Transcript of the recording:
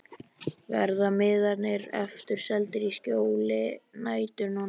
Verða miðarnir aftur seldir í skjóli nætur núna?